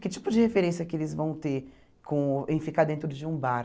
Que tipo de referência que eles vão ter com em ficar dentro de um bar?